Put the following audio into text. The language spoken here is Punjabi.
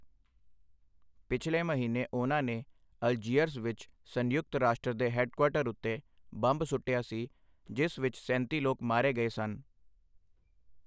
ਪਿਛਲੇ ਮਹੀਨੇ ਉਹਨਾਂ ਨੇ ਅਲਜੀਅਰਸ ਵਿੱਚ ਸੰਯੁਕਤ ਰਾਸ਼ਟਰ ਦੇ ਹੈੱਡਕੁਆਰਟਰ ਉੱਤੇ ਬੰਬ ਸੁੱਟਿਆ ਸੀ ਜਿਸ ਵਿੱਚ ਸੈਂਤੀ ਲੋਕ ਮਾਰੇ ਗਏ ਸਨ।